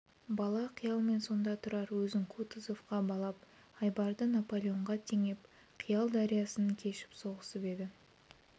бала қиялмен сонда тұрар өзін кутузовқа балап айбарды наполеонға теңеп қиял дариясын кешіп соғысып еді